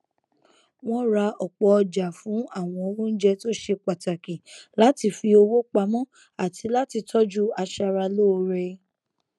wọn ra ọpọ ọjà fún àwọn oúnjẹ tó ṣe pàtàkì láti fi owó pamọ àti láti tọjú aṣara lóore